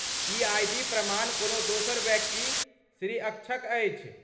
E I. D प्रमाण कोनो दोसर व्यक्ति, श्री अक्षक अछि।